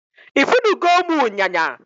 Ifun go umu inyanya?